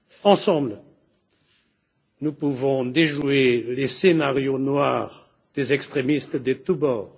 Ensemble, nous pouvons déjouer les scénarios noirs des extrémistes de tous bords.